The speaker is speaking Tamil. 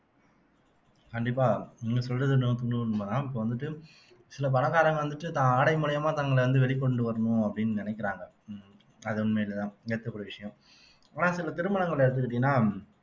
கண்டிப்பா நீங்க சொல்றது நூத்துக்குநூறு உண்மைதான் இப்ப வந்துட்டு சில பணக்காரங்க வந்துட்டு தான் ஆடை மூலியமா தங்களை வந்து வெளிக்கொண்டு வரணும் அப்படின்னு நினைக்கிறாங்க உம் அது உண்மையிலே தான் கூடிய விஷயம் ஆனா சில திருமணங்களை எடுத்துக்கிட்டீங்கன்னா